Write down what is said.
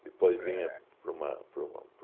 depois vinha para uma para um